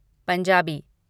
Punjabi